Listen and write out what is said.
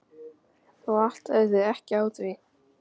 Þú áttaðir þig ekki á því.